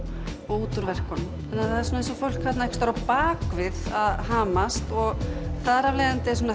og út úr verkunum það er eins og fólk á bak við að hamast þar afleiðandi er